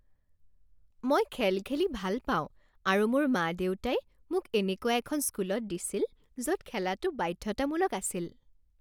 মই খেল খেলি ভাল পাওঁ আৰু মোৰ মা দেউতাই মোক এনেকুৱা এখন স্কুলত দিছিল য'ত খেলাটো বাধ্যতামূলক আছিল